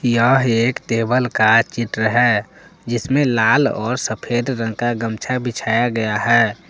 यह एक टेबल का चित्र है जिसमें लाल और सफेद रंग का गमछा बिछाया गया है।